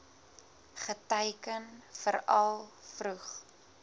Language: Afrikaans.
geteiken veral vroeg